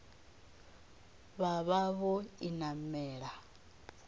vha vha vho i namela